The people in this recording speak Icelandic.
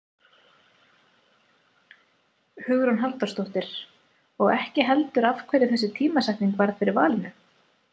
Hugrún Halldórsdóttir: Og ekki heldur af hverju þessi tímasetning varð fyrir valinu?